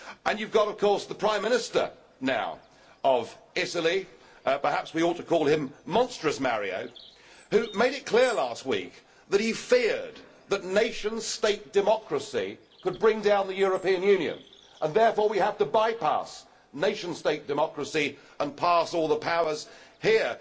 And now you have of course the Prime Minister of Italy perhaps we ought to call him Monstrous Mario who made it clear last week that he feared that nation state democracy could bring down the European Union and therefore we have to by pass nation state democracy and pass all the powers here.